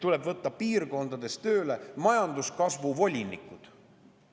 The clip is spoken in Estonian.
Tuleb võtta piirkondades tööle majanduskasvu volinikud.